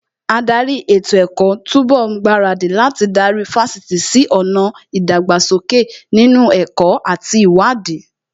Ádárì ètò ẹ̀kọ́ tó ń bọ̀ ń gbaradì láti darí Fásitì sí ọ̀nà ìdàgbàsókè nínú ẹ̀kọ́ àti ìwádìí